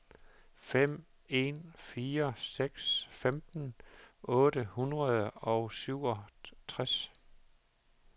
fem en fire seks femten otte hundrede og syvogtres